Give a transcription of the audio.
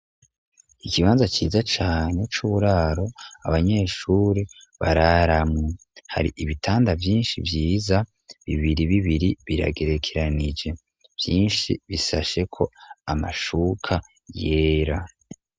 Ikibanza ciza cane c'buraro abanyeshuri bararamwo. Hari ibitanda vyinshi vyiza bibiri bibiri biragerekeranije. Vyinshi bisasheko amashuka yera.